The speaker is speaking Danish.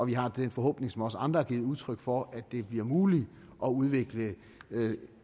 vi har den forhåbning som også andre har givet udtryk for at det bliver muligt at udvikle